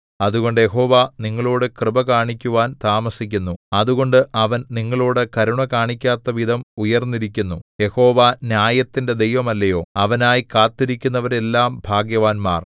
അതുകൊണ്ട് യഹോവ നിങ്ങളോടു കൃപ കാണിക്കുവാൻ താമസിക്കുന്നു അതുകൊണ്ട് അവൻ നിങ്ങളോടു കരുണ കാണിക്കാത്തവിധം ഉയർന്നിരിക്കുന്നു യഹോവ ന്യായത്തിന്റെ ദൈവമല്ലയോ അവനായി കാത്തിരിക്കുന്നവരെല്ലാം ഭാഗ്യവാന്മാർ